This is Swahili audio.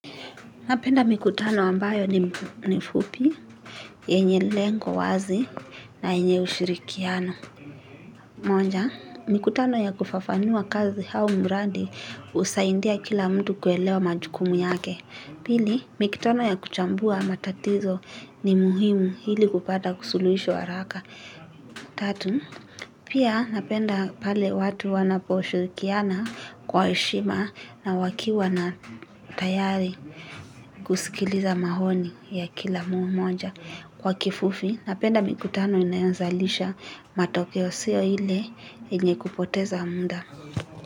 Napenda mikutano ambayo ni mfupi, yenye lengo wazi na yenye ushirikiano. Moja, mikutano ya kufafanua kazi au mradi husaidia kila mtu kuelewa majukumu yake. Pili, mikutano ya kuchambua matatizo ni muhimu hili kupata kusuluhisho haraka. Tatu pia napenda pale watu wanapo shirikiana kwa heshima na wakiwa na tayari kusikiliza maoni ya kila mmoja. Kwa kifufi, napenda mikutano inayazalisha matokeo sio ile yenye kupoteza muda.